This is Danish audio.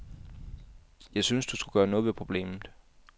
Jeg synes, du skulle gøre noget ved problemet.